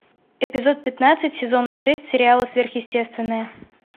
эпизод пятнадцать сезона шесть сериала сверхъестественное